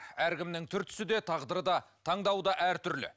әркімнің түр түсі де тағдыры да таңдауы да әртүрлі